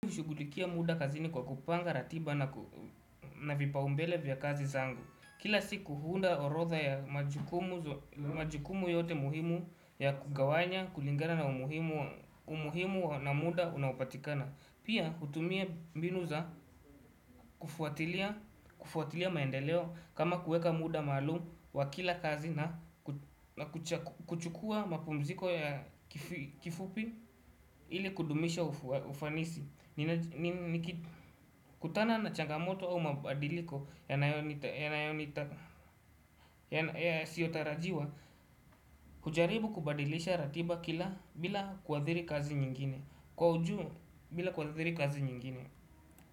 Kushughulikia muda kazini kwa kupanga, ratiba na vipaa umbele vya kazi zangu. Kila siku huunda orodha ya majukumu yote muhimu ya kugawanya, kulingana na umuhimu na muda unaopatikana. Pia hutumia mbinu za kufuatilia maendeleo kama kuweka muda maalumu wa kila kazi na kuchukua mapumziko ya kifupi ili kudumisha ufanisi. Nikitutana na changamoto au mabadiliko yasiotarajiwa kujaribu kubadilisha ratiba kila bila kuathiri kazi nyingine kwa uju bila kuathiri kazi nyingine.